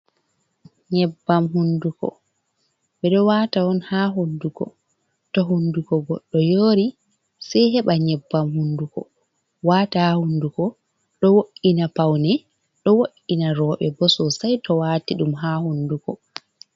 Nyebbam hunduko ɓeɗo wata on ha hunduko to hunduko goɗɗo yori sei heɓa nyebbam hunduko wata a hunduko ɗo wo’ina paune ɗo wo’’ina roɓe bo sosai to wati ɗum ha hunduko.